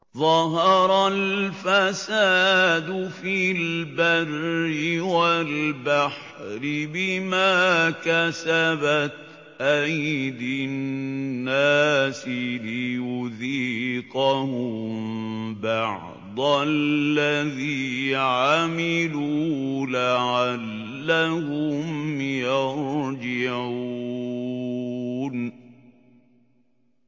ظَهَرَ الْفَسَادُ فِي الْبَرِّ وَالْبَحْرِ بِمَا كَسَبَتْ أَيْدِي النَّاسِ لِيُذِيقَهُم بَعْضَ الَّذِي عَمِلُوا لَعَلَّهُمْ يَرْجِعُونَ